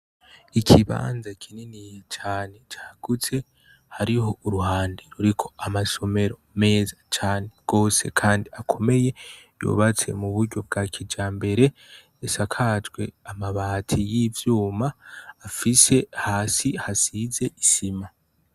Ikibanza kinini cane cagutse hariho uruhande ruriko amasomero meza cane gose kandi akomeye yubatse mu buryo bwa kijambere isakajwe amabati y' ivyuma afise hasi hasize isima.